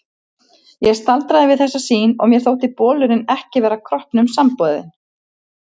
Ég staldraði við þessa sýn og mér þótti bolurinn ekki vera kroppnum samboðinn.